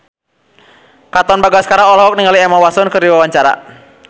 Katon Bagaskara olohok ningali Emma Watson keur diwawancara